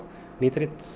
mjög